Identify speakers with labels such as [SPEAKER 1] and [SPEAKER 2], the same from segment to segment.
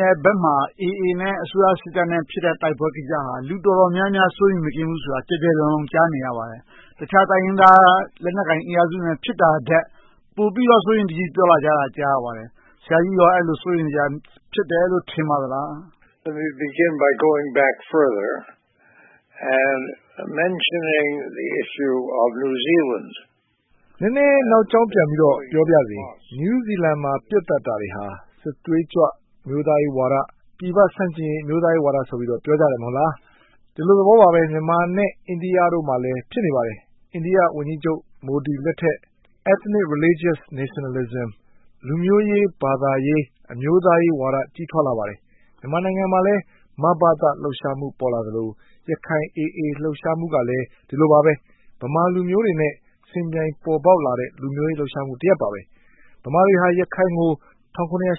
[SPEAKER 1] နယ်ဘက်မှာ အေအေနဲ့ အစိုးရစစ်တပ်နဲ့ ဖြစ်နေတဲ့ တိုက်ပွဲကိစ္စဟာ လူတော်တော်များများ စိုးရိမ်မကင်း ဖြစ်နေကြတယ်ဆိုတာကို ကျယ်ကျယ်လောင်လောင် ကြားနေရပါတယ်။ တခြားတိုင်းရင်းသား လက်နက်ကိုင်အင်အားစုတွေနဲ့ ဖြစ်နေတာထက် ပိုပြီးတော့ စိုးရိမ်တကြီး ပြောဆိုနေကြတာကို ကြားနေရပါတယ်။ ဆရာကြီးက အဲဒါကို စိုးရိမ်စရာ ဖြစ်တယ်လို့ ထင်ပါသလား။
[SPEAKER 2] နည်းနည်းနောက်ကြောင်းပြန်ပြီးတော့ ပြောပါရစေ။ နယူးဇီလန်မှာ ပစ်သတ်တာတွေဟာ စစ်သွေးကြွ၊ အမျိုးသားရေးဝါဒ၊ ပြည်ပဆန့်ကျင်ရေး အမျိုးသားရေးဝါဒဆိုပြီး ပြောကြတယ် မဟုတ်လား။ ဒီလိုသဘောပါပဲ မြန်မာနဲ့ အိန္ဒိယတို့မှာလည်း ဖြစ်နေပါတယ်။ အိန္ဒိယဝန်ကြီးချုပ် မိုဒီလက်ထက် Ethnic, Religious Nationalism - လူမျိုးရေး၊ ဘာသာရေး၊ အမျိုးသားရေးဝါဒ ကြီးထွားလာပါတယ်။ မြန်မာနိုင်ငံမှာလဲ မဘသ လှုပ်ရှားမှု ပေါ်လာသလို၊ ရခိုင် အေအေ လှုပ်ရှားမှုကလဲ ဒီလိုပါပဲ - ဗမာလူမျိုးတွေနဲ့ ယှဉ်ပြိုင်ပေါ်ပေါက်လာတဲ့ လူမျိုးရေးလှုပ်ရှားမှု တရပ်ပါ။ ဗမာတွေက ရခိုင်ကို ၁၇၈၄-၈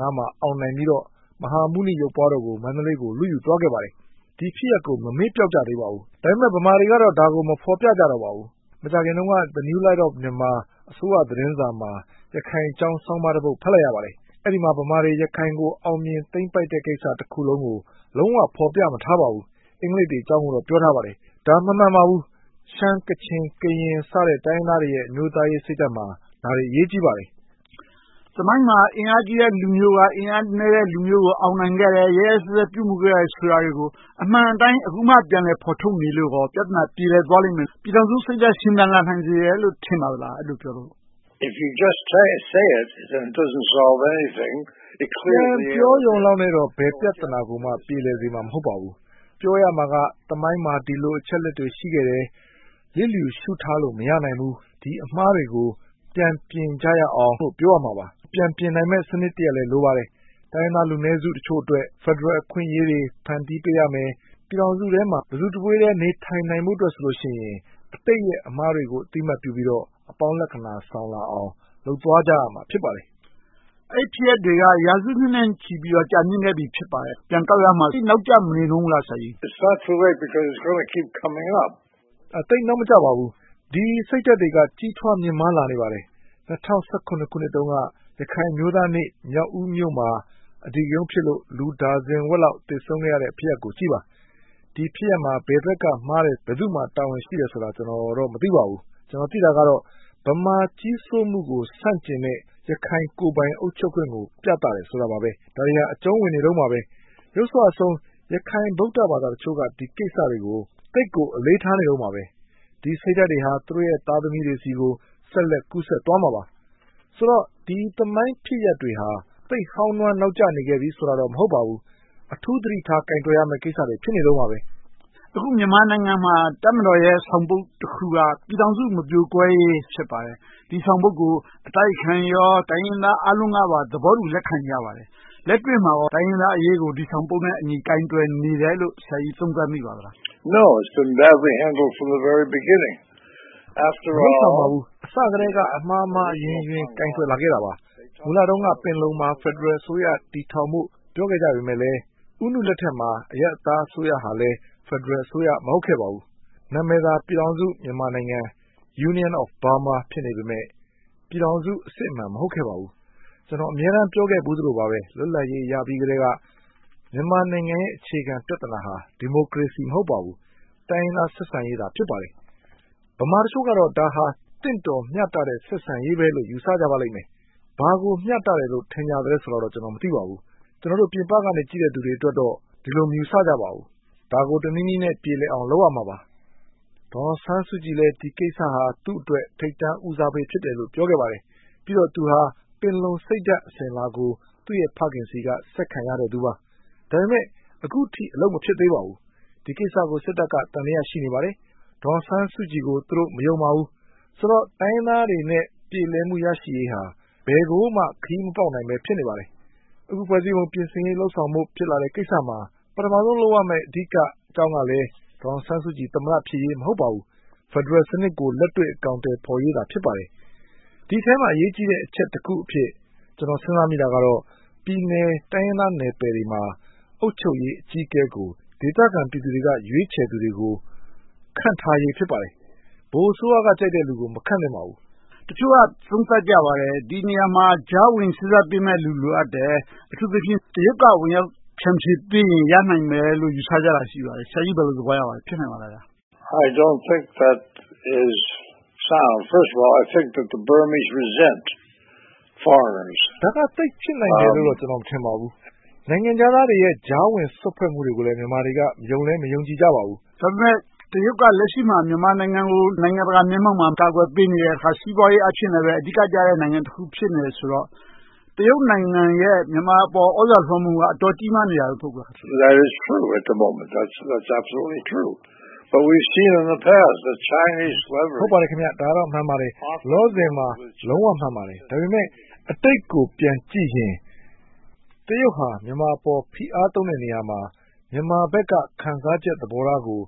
[SPEAKER 2] ၅ မှာ အောင်နိုင်ပြီးတော့ မဟာမြတ်မုနီ ရုပ်ပွားတော်ကို မန္တလေးကို လုယူသွှားကြပါတယ်။ ဒီဖြစ်ရပ်ကို ရခိုင်တွေက မမေ့ပျောက်သေးကြပါဘူး။ ဒါပေမဲ့ ဗမာတွေကတော့ ဒါကို မဖော်ပြကြတော့ပါဘူး။ မကြာသေးခင်တုန်းက New Light of Myanmar အစိုးရသတင်းစာမှာ ရခိုင်အကြောင်း သတင်းဆောင်းပါးတပုဒ် ဖတ်လိုက်ရပါတယ်။ အဲဒီမှာ ဗမာတွေ ရခိုင်ကို အောင်မြင်သိမ်းပိုက်တဲ့ သမိုင်းဖြစ်စဉ်တခုလုံးကို လုံးဝဖော်ပြမထားပါဘူး။ အင်္ဂလိပ်တွေအကြောင်းကိုတော့ ပြောထားပါတယ်။ ဒါက မမှန်ပါဘူး။ ရှမ်း၊ ကချင်၊ ကရင် တိုင်းရင်းသားတွေရဲ့ အမျိုးသားရေးစိတ်ဓါတ်မှာ ဒါတွေအရေးကြီးပါတယ်။
[SPEAKER 1] သမိုင်းမှာ အင်အားကြီးတဲ့ လူမျိုးက အင်အားနည်းတဲ့အုပ်စုကို အောင်မြင်ခဲ့တယ်။ ရက်ရက်စက်စက် ပြုမှုခဲ့တယ်ဆိုတာတွေကို အမှန်အတိုင်း အခုမှ ပြန်လည်ဖော်ထုတ်နေလို့ကော ပြဿနာ ပြေလည်သွားလိမ့်မယ်။ ပြည်ထောင်စုစိတ်ဓါတ် ရှင်သန်လာနိုင်စေတယ်လို့ ထင်ပါသလား။
[SPEAKER 2] ပြန်ပြောရုံလောက်နဲ့တော့ ဘယ်ပြဿနာကိုမှ ပြေလည်စေမှာ မဟုတ်ပါဘူး။ ပြောရမှာက သမိုင်းမှာ ဒီလိုအချက်အလက်တွေ ရှိခဲ့တယ်။ လျစ်လျူရှုထားလို့ မရနိုင်ဘူး။ ဒီအမှားတွေကို ပြန်ပြင်ကြရအောင်လို့ ပြောရမှာပါ။ ပြန်ပြင်နိုင်မယ့် စနစ်တခုလဲ လိုပါတယ်။ တိုင်းရင်းသားလူနည်းစုတချို့အတွက် ဖယ်ဒရယ် အခွင့်အရေးတွေ ဖန်တီးပေးရမယ်။ ပြည်ထောင်စုထဲမှာ တစုတဝေးထဲ နေထိုင်းနိုင်ဖို့အတွက်ဆိုရင် အတိတ်ရဲ့ အမှားတွေကို အသိအမှတ်ပြုပြီးတော့ အပေါင်းလက္ခဏာ ဆောင်လာအောင် လုပ်သွားကြရမှာ ဖြစ်ပါတယ်။
[SPEAKER 1] အဲဒီဖြစ်ရပ်တွေက ရာစုနှစ်နဲ့ချီပြီး ကြာမြစ်ခဲ့ပြီ ဖြစ်ပါတယ်။ ပြန်ကောက်ရမှာ သိပ်နောင့်မကျမနေဘူးလား ဆရာကြီး။
[SPEAKER 2] သိပ်နောက်မကျပါဘူး။ ဒီစိတ်ဓါတ်တွေက ကြီးထွားမြင့်မာလာနေပါတယ်။ ၂၀၁၇ ခုနှစ်တုန်းက ရခိုင်အမျိုးသားနေ့ မြောက်ဦးမြို့မှာ အဓိကရုဏ်းဖြစ်လို့ လူဒါဇင်ဝက်လောက် သေဆုံးခဲ့ရတဲ့ ဖြစ်ရပ်ကိုကြည့်ပါ။ ဒီဖြစ်ရပ်မှာ ဘယ်ဘက်က မှားတယ်။ ဘယ်သူမှာ တာဝန်ရှိတယ်ဆိုတာကိုတော့ ကျနော် မသိပါဘူး။ ကျနော် သိတာကတော့ ဗမာကြီးစိုးမှုကို ဆန့်ကျင်တဲ့ ရခိုင်ကိုယ်ပိုင်အုပ်ချုပ်ခွင့်ကို ပြသတယ်ဆိုတာပါပဲ။ ဒါတွေဟာ အကြုံဝင်နေတုန်းပါပဲ။ ယုတ်စွအဆုံး ရခိုင်ဗုဒ္ဓဘာသာတချို့က ဒီကိစ္စတွေကို သိပ်ကိုအလေးထားနေတုန်းပါပဲ။ ဒီစိတ်ဓါတ်တွေဟာ သူတို့ သားသမီးတွေ ဆိုတော့ ဒီသမိုင်းဖြစ်ရပ်မှန်တွေဟာ သိပ်ဟောင်းနွှမ်းနောက်ကျနေခဲ့ပြီး ဆိုတာတော့ မဟုတ်ပါဘူး။ အထူးသတိထား ကိုင်တွယ်ဖြေရှင်းရမယ့်ကိစ္စတွေ ဖြစ်နေတုန်းပါ။
[SPEAKER 1] အခုမြန်မာနိုင်ငံမှာ တပ်မတော်ရဲ့ ဆောင်ပုဒ်တခုက ပြည်ထောင်စု မပြိုကွဲရေး ဖြစ်ပါတယ်။ ဒီဆောင်ပုဒ်ကို အတိုက်အခံရော၊ တိုင်းရင်းသားအားလုံးကပါ သဘောတူလက်ခံကြပါတယ်။ လက်တွေ့မှာကော တိုင်းရင်းသားအရေးကို ဒီဆောင်ပုဒ်နဲ့အညီ ကိုင်တွယ်နေတယ်လို့ ဆရာကြီးသုံးသပ်မိပါသလား။
[SPEAKER 2] မလုပ်ဆောင်ပါဘူး။ အစကတည်းက အမှားမှားအယွင်းယွင်း ကိုင်တွယ်လာခဲ့တာပါ။ မူလတုန်းက ပင်လုံမှာ ဖယ်ဒရယ်အစိုးရ တည်ထောင်ဖို့ ပြောခဲ့ကြပေမယ့် ဦးနုလက်ထက်မှာ အရပ်သားအစိုးရဟာလည်း ဖယ်ဒရယ်အစိုးရ မဟုတ်ခဲ့ပါဘူး။ နာမည်သာ ပြည်ထောင်စု မြန်မာနိုင်ငံ Union of Burma ဖြစ်နေပေမယ့် ပြည်ထောင်စုအစစ်အမှန် မဟုတ်ခဲ့ပါဘူး။ ကျနော် အမြဲတမ်း ပြောခဲ့သလိုပါပဲ လွတ်လပ်ရေးရပြီးကတည်းက မြန်မာနိုင်ငံရဲ့ အခြေခံပြဿနာဟာ ဒီမိုကရေစီ မဟုတ်ပါဘူး။ တိုင်းရင်းသားဆက်ဆံရေးသာ ဖြစ်ပါတယ်။ ဗမာတချို့ကတော့ ဒါဟာ သင့်တော်မျှတတဲ့ ဆက်ဆံရေးပဲလို့ ယူဆကြပါလိမ့်မယ်။ ဘာကိုမျှတသလဲဆိုတာတော့ ကျနော် မသိပါဘူး။ ကျနော်တို့ ပြင်ပက ကြည့်နေသူတွေအတွက်တော့ ဒီလိုမယူဆကြပါဘူး။ ဒါကို တနည်းနည်းနဲ့ ပြေလည်အောင် လုပ်ရမှာပါ။ ဒေါ်အောင်ဆန်းစုကြည်လည်း ဒီကိစ္စဟာ သူ့အတွက် ထိပ်တန်းဦးစားပေးလို့ ပြောခဲ့ပါတယ်။ ပြီးတော့ သူဟာ ပင်လုံစိတ်ဓါတ် အစဉ်အလာကို သူ့ရဲ့ဖခင်ဆီကနေ ဆက်ခံရခဲ့သူပါ။ ဒါပေမဲ့ အခုထိ အလုပ်မဖြစ်သေးပါဘူး။ ဒီကိစ္စကို စစ်တပ်က သံသယ ရှိနေပါတယ်။ ဒေါ်အောင်ဆန်းစုကြည်ကို သူတို့ မယုံပါဘူး။ ဆိုတော့ တိုင်းရင်းသားေးတွအနေနဲ့ ပြေလည်မှု ရရှိရေးဟာ ဘယ်ကိုမှ ခရီးမပေါက်ဘဲ ဖြစ်နေပါတယ်။ အခု ဖွဲ့စည်းပုံပြင်ဆင်ရေး လုပ်ဆောင်ဖို့ ဖြစ်လာတဲ့ကိစ္စမှာ ပထမဦးဆုံး လုပ်ရမယ့် အဓိကအကြောင်းကလည်း ဒေါ်အောင်ဆန်းစုကြည် သမ္မတဖြစ်ရေး မဟုတ်ပါဘူး။ ဖယ်ဒရယ်စနစ်ကို လက်တွေ့အကောင်အထည် ဖော်ရေးသာ ဖြစ်ပါတယ်။ ဒီအထဲမှာ အရေးကြီးတဲ့ အချက်တခုအဖြစ် ကျနော် စဉ်းစားမိတာကတော့ ပြည်နယ်တိုင်းရင်းသားနယ်ပယ်တွေမှာ အုပ်ချုပ်ရေးအကြီးအကဲကို ဒေသခံပြည်သူတွေက ရွေးချယ်သူတွေကို ခန့်ထားရေး ဖြစ်ပါတယ်။ ဗဟိုအစိုးရက ကြိုက်တဲ့လူကို မခန့်သင့်ပါဘူး။
[SPEAKER 1] တချို့က သုံးသပ်ကြပါတယ်။ ဒီနေရာမှာ ကြားဝင်စေ့စပ်ပေးမယ့်လူ လိုအပ်တယ်။ အထူးသဖြင့် တရုတ်က ကြားဝင်ဖြန့်ဖြေပေးရင် ရနိုင်မယ်လို့ ယူဆကြတာ ရှိပါတယ်။ ဆရာကြီး ဘယ်လိုသဘောရပါသလဲ။ ဖြစ်နိုင်ပါသလား။
[SPEAKER 2] ဒါက သိပ်ဖြစ်နိုင်မယ်လို့ ကျနော် မထင်ပါဘူး။ နိုင်ငံခြားသားတွေရဲ့ ကြားဝင်စွက်ဖက်မှုတွေကို မြန်မာတွေက ယုံလည်းမယုံကြည်ကြပါဘူး။
[SPEAKER 1] ဒါပေမဲ့ တရုတ်က လက်ရှိမှာ မြန်မာနိုင်ငံကို နိုင်ငံတကာမျက်မှောက်မှာ ကာကွယ်ပေးနေတယ်။ စီးပွားရေး အားဖြင့်လဲ အဓိကကျတဲ့ နိုင်ငံတခု ဖြစ်နေတယ်ဆိုတော့ တရုတ်နိုင်ငံရဲ့ မြန်မာအပေါ် သြဇာလွှမ်းမိုးမှုက အတော်ကြီးမားနေတယ် မဟုတ်ဘူးလား။
[SPEAKER 2] ဟုတ်ပါတယ် ဒါကတော့ မှန်ပါတယ်။ လောလောဆယ်မှာ လုံးဝမှန်ပါတယ်။ ဒါပေမဲ့အတိတ်ကို ပြန်ကြည့်ရင် တရုတ်ဟာ မြန်မာအပေါ် ဖိအားသုံးတဲ့နေရာမှာ မြန်မာဘက်က ခံစားချက်သဘောထားကို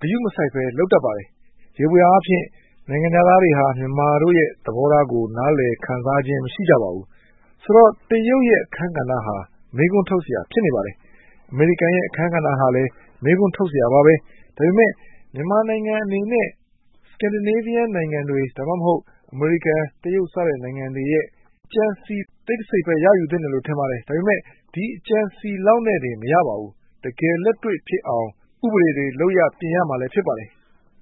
[SPEAKER 2] ဂရုမစိုက်ဘဲ လုပ်တတ်ပါတယ်။ ယေဘုယျအားဖြင့် နိုင်ငံခြားသားတွေဟာ မြန်မာတို့ရဲ့ သဘောထားကို နားလည်ခံစားခြင်း မရှိကြပါဘူး။ ဆိုတော့ တရုတ်ရဲ့ အခန်းကဏ္ဍဟာ မေးခွန်းထုတ်စရာ ဖြစ်နေပါတယ်။ အမေရိကန်ရဲ့ အခန်းကဏ္ဍဟာလည်း မေးခွန်းထုတ်စရာပါပဲ။ ဒါပေမဲ့ မြန်မာနိုင်ငံအနေနဲ့ Scandinavia နိုင်ငံတွေ၊ ဒါမှမဟုတ် အမေရိကန်၊ တရုတ် စသဖြင့် နိုင်ငံတွေရဲ့ ကြံစည်တိတ်တစိတ်ပဲ ရယူသင့်တယ်လို့ ထင်ပါတယ်။ ဒါပေမဲ့ ဒီအကြံအစည်လောက်နဲ့ပင် မရနိုင်ပါဘူး။ တကယ်လက်တွေ့ဖြစ်အောင် ဥပဒေတွေ လုပ်ရပ်တွေကို ပြင်ရမှာ ဖြစ်ပါတယ်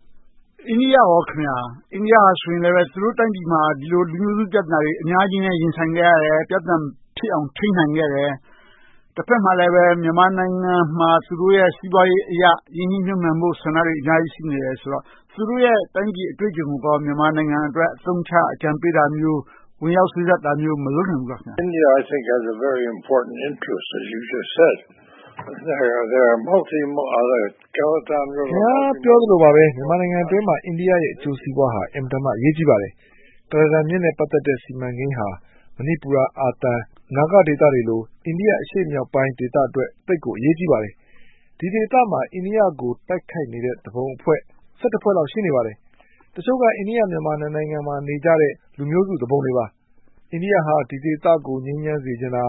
[SPEAKER 2] ။
[SPEAKER 1] အိန္ဒိယအနေနဲ့ သူတို့တိုင်းပြည်မှာ ဒီလိုလူမျိုးစု ပြဿနာတွေ အများကြီးနဲ့ ရင်ဆိုင်ခဲ့ရတယ်။ ပြဿနာ မဖြစ်အောင် ထိန်းနိုင်ခဲ့တယ်။ တဘက်မှာလည်း မြန်မာနိုင်ငံမှာ သူတို့ရဲ့ စီးပွားရေးအရ ရင်းနှီးမြှုပ်နံှမှုတွေ အများကြီး ရှိနေသေးတယ်ဆိုတော့ သူတို့ရဲ့ တိုင်းပြည်အတွေ့အကြုံကို မြန်မာနိုင်ငံအတွက် အသုံးချ၊ အကြံပြုတာမျိုး၊ ဝင်ရောက်စွတ်ဖက်တာမျိုးတွေ မလုပ်နိုင်ဘူးလား။
[SPEAKER 2] ခင်များ ပြောသလိုပါပဲ မြန်မာနိုင်ငံအတွင်းမှာ အိန္ဒိယနိုင်ငံရဲ့ အကျိုးစီးပွားဟာ အင်မတန်မှ အရေးကြီးပါတယ်။ ကုလားတန်မြစ်နဲ့ ပတ်သက်တဲ့ စီမံကိန်းဟ မဏိပူရ၊ အာသံ၊ နာဂဒေသတွေလို အိန္ဒိယအရှေ့မြောက်ပိုင်း ဒေသအတွက် သိပ်ကိုအရေးကြီးပါတယ်။ ဒီဒေသမှာ အိန္ဒိယကို တိုက်ခိုက်နေတဲ့ သူပုန်အဖွဲ့၊ ` ဖွဲ့လောက် ရှိနေပါတယ်။ တချို့က အိန္ဒိယ-မြန်မာ နှစ်နိုင်ငံမှာ နေကြတဲ့ လူမျိုးစုသူပုန်တွေပါ။ အိန္ဒိယ ဒီဒေသကို ငြိမ်းချမ်းစေချင်တာ.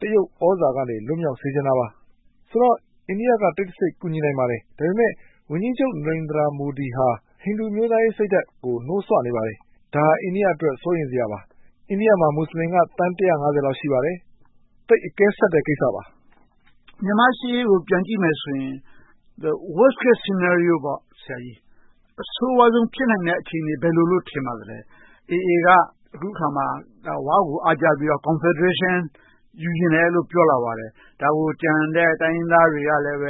[SPEAKER 2] တရုတ်သြဇာလက်အောက်ကနေ လွတ်မြောက်စေချင်တာပါ။ ဆိုတော့ အိန္ဒိယက တိတ်တဆိတ် ကူညီနိုင်ပါတယ်။ ဒါပေမဲ့ ဝန်ကြီးချုပ် နရသိန် မူဒီဟာ ဟိန္ဒူအမျိုးသားရေးစိတ်ဓါတ်ကို နှိုးစွနေပါတယ်။ ဒါဟာ အိန္ဒိယအတွက် စိုးရိမ်စရာပါ။ အိန္ဒိယမှာ မူစလင်က သန်း ကျော်လောက် ရှိပါတယ်။ သိပ်အကဲဆတ်တဲ့ ကိစ္စပါ။
[SPEAKER 1] မြန်မာ့ရှေ့ရေးကို ပြန်ကြည့်မယ်ဆိုရင် အဆိုးဝါးဆုံး ဖြစ်နိုင်မယ့် အခြေအနေက ဘယ်လိုလုပ်လို့ ထင်ပါသလဲ။ အေအေ က အခုအခါမှာ ဝကို အားကျပြီးတော့ ကွန်ဖယ်ဒရေးရှင်း ယူချင်တယ်လို့ ပြောလာပါတယ်။ ဒါကို ကျန်တဲ့တိုင်းရင်းသားတွေကလည်း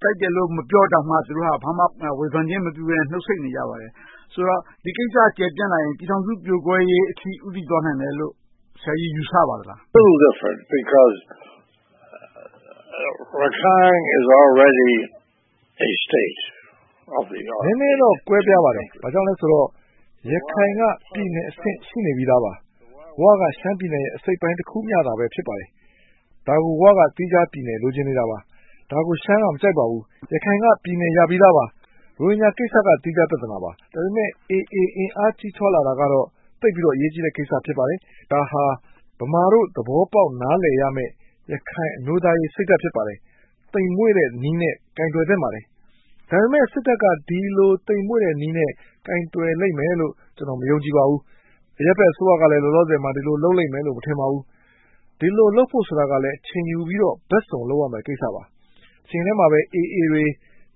[SPEAKER 1] ကြိုက်တယ်လို့ မပြောတောင်မှ ဘာမှဝေဖန်ခြင်း မပြုဘဲနဲ့ နှုတ်ဆိတ်နေကြပါတယ်။ ဆိုတော့ ဒီကိစ္စ ကျယ်ပြန့်လာရင် ပြည်ထောင်စုပြိုကွဲရေးအထိ ဦးတည်သွားနိုင်မယ်လို့ ဆရာကြီး ယူဆပါသလား။
[SPEAKER 2] နည်းနည်းတော့ ကွဲပြားပါတယ်။ ဘာကြောင့်လဲဆိုတော့ ရခိုင်က ပြည်နယ်အဆင့် ရှိနေပြီသာပါ။ ဝ က ရှမ်းပြည်နယ်ရဲ့ အစိတ်အပိုင်းတခုမျှသာ ဖြစ်ပါတယ်။ ဒါက ဝ က သီးခြားပြည်နယ် လိုချင်နေတာပါ။ ဒါကို ရှမ်းက မကြိုက်ပါဘူး။ ရခိုင်က ပြည်နယ်ရပြီးသာပါ။ ရိုဟင်ဂျာကိစ္စက သီးခြားပြဿနာပါ။ ဒါပေမဲ အေအေ အင်အားကြီးထွားလာတာကတော့ သိပ်ပြီးတော့ အရေးကြီးတဲ့ ကိစ္စ ဖြစ်ပါတယ်။ ဒါဟာ ဗမာတို့ သဘောပေါက် နားလည်ရမယ့် ရခိုင်အမျိုးသားရေးစိတ်ဓါတ် ဖြစ်ပါတယ်။ သိမ်မွှေ့တဲ့နည်းနဲ့ ကိုင်တွယ်သင့်ပါတယ်။ ဒါပေမဲ့ စစ်တပ်က ဒီလိုသိမ်မွှေ့တဲ့နည်းနဲ့ ကိုင်တွယ်လိမ့်မယ်လို့ ကျနော် မယုံကြည်ပါဘူး။ အရပ်ဘက်အစိုးရကလည်း လောလောဆယ်မှာ ဒီလိုလုပ်လိမ့်မယ်လို့ မထင်ပါဘူး။ ဒီလိုလုပ်ဖို့ဆိုတာကလဲ အချိန်ယူပြီးတော့ ဘက်စုံလုပ်ရမယ့် ကိစ္စပါ။ တချိန်တည်းမှာပဲ အေအေတွေ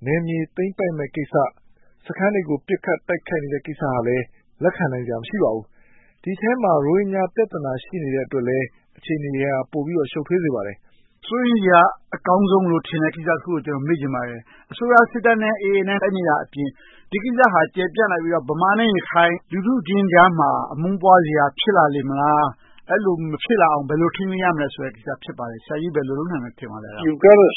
[SPEAKER 2] နယ်မြေသိမ်းပိုက်မယ့်ကိစ္စ။ စခန်းတွေကို ပစ်ခတ်တိုက်ခိုက်နေတဲ့ကိစ္စတွေကိုလည်း လက်ခံနိုင်စရာ မရှိပါဘူး။ ဒီအထဲမှာ ရိုဟင်ဂျာပြဿနာ ရှိနေတဲ့အတွက်လဲ အခြေအနေတွေက ပိုပြီးတော့ ရှုပ်ထွေးစရာ ဖြစ်နေပါတယ်။
[SPEAKER 1] စိုးရိမ်စရာ အကောင်းဆုံးလို့ထင်တဲ့ ကိစ္စတခုကို ကျနော် မေးချင်ပါတယ်။ အစိုးရစစ်တပ်နဲ့ အေအေတို့ တိုက်နေတာအပြင် ဒီကိစ္စဟာ ကျယ်ပြန့်လာပြီးတော့ ဗမာနဲ့ ရခိုင် လူထုချင်းကြားမှာ အမုန်းပွားစရာ ဖြစ်လာလေမလား။ အဲဒီလို မဖြစ်လာနိုင်အောင် ဘယ်လို ထိန်းသိမ်းရမလဲဆိုတဲ့ ကိစ္စ ဖြစ်ပါတယ်။ ဆရာကြီး ဘယ်လို လုပ်နိုင်မယ် ထင်ပါသလဲ။
[SPEAKER 2] ဒါကတော့ ပညာရေးက စပြီးတ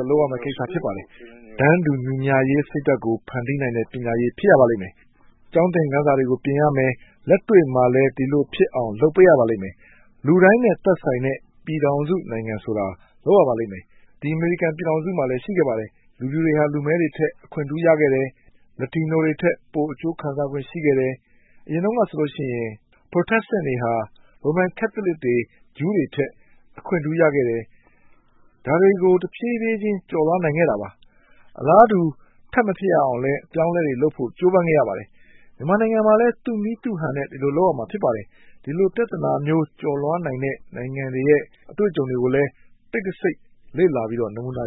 [SPEAKER 2] ော့ လုပ်ရမယ့်ကိစ္စ ဖြစ်ပါတယ်။ တန်းတူညီမျှရေး စိတ်ဓါတ်ကို ဖန်တီးနိုင်တဲ့ ပညာရေး ဖြစ်ရပါမယ်။ ကျောင်းသင်ခန်းစာတွေကို ပြင်ရမယ်။ လက်တွေ့မှာလည်း ဒီလိုဖြစ်အောင် လုပ်ပေးရပါမယ်။ လူတိုင်းနဲ့ သက်ဆိုင်တဲ့ ပြည်ထောင်စုနိုင်ငံဆိုတာကို လုပ်ရပါမယ်။ ဒီ အမေရိကန်ပြည်ထောင်စုမှာလည်း ရှိခဲ့ပါတယ်။ လူဖြူတွေဟာ လူမဲတွေထက် အခွင့်ထူးရခဲ့တယ်။ လက်တီနိုတွေထက် ပိုအကျိုးခံစားခွင့် ရှိခဲ့တယ်။ အရင်တုန်းကဆိုရင် Protestants တွေက ရိုမန်ကတ်သလစ်တွေ၊ ဂျူးတွေထက် အခွင့်ထူးရခဲ့တယ်။ ဒါတွေကို တဖြည်းဖြည်းချင်း ကျော်လွှာနိုင်ခဲ့တာပါ။ အလားတူ ထပ်မဖြစ်အောင်လဲ အပြောင်းအလဲတွေလုပ်ဖို့ ကြိုးပမ်းခဲ့ရပါတယ်။ မြန်မာနိုင်ငံမှာလည်း သူ့နည်းသူ့ဟန်နဲ့ ဒီလိုလုပ်ရမှာ ဖြစ်ပါတယ်။ ဒီလိုပြဿနာမျိုး ကျော်လွှားနိုင်တဲ့ နိုင်ငံတွေရဲ့ အတွေ့အကြုံတွေကိုလည်း တိတ်တဆိတ် လေ့လာပြီးတော့ နမူနာ